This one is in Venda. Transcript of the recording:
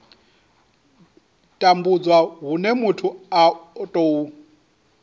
tambudzwa hune muthu a tou